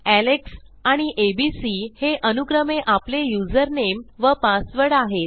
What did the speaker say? Alex आणि ABC हे अनुक्रमे आपले युजरनेम व पासवर्ड आहेत